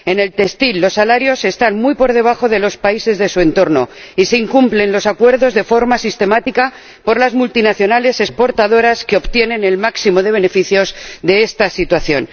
En el sector textil, los salarios están muy por debajo de los países de su entorno y los acuerdos son incumplidos de forma sistemática por las multinacionales exportadoras, que obtienen el máximo de beneficios de esta situación.